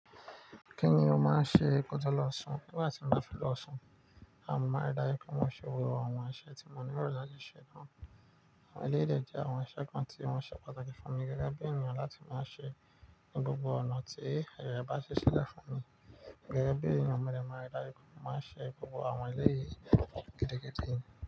Kíni ó máa ń ṣe koto lọ́ṣù? Ni gba ti mo bá fẹ́ lọ́ṣù, naa mo máa rí i dájú pé mo ṣe gbogbo àwọn iṣẹ́ tí mo ní lo lati ṣe náà. Àwọn eleyii dè jẹ́ àwọn iṣẹ́ kan tí wọ́n ṣe pàtàkì fún mi gẹ́gẹ́ bí ènìyàn láti máa ṣe ní gbogbo ọ̀nà tí aye rẹ̀ bá ṣi ṣíle fún mi. Gẹ́gẹ́ bí ènìyàn, mo de máa rí i dájú pé mo máa ń ṣe gbogbo àwọn eleyìí gidi gidi.